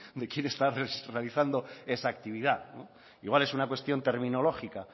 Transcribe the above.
de quienes está esa actividad igual es una cuestión terminológica